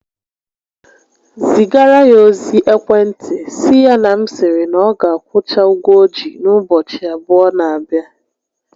Zigara ya ozi ekwentị sị ya na m sịrị na ọ ga akwụcha ụgwọ o ji n'ụbọchị abụọ n'abịa